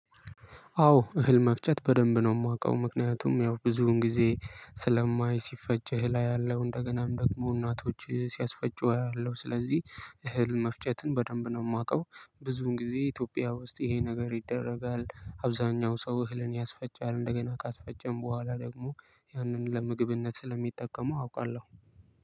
አዎ እህል መፍጨት በደንብ ነው የማውቀው ምክንያቱም ያው ብዙውን ጊዜ ስለማይ ሲፈጭ እህል አያለው እንደገና ደግሞ እናቶች ሲያስፈጩ አያለሁ። ስለዚህ እህል መፍጨትን በደንብ ነው የማውቀው። ብዙን ጊዜ ኢትዮጵያ ውስጥ ይሄ ነገር ይደረጋል አብዛኛው ሰው እህልን ያስፈጫል እንደገና ካስፈጨም በኋላ ደግሞ ያንን ለምግብነት ስለሚጠቀሙ አውቃለሁ።